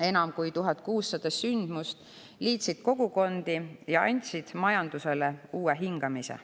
Enam kui 1600 sündmust liitsid kogukondi ja andsid majandusele uue hingamise.